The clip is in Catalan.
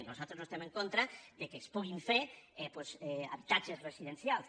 nos·altres no estem en contra que es puguin fer doncs habitatges residencials